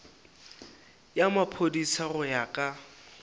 ya maphodisa go ya ka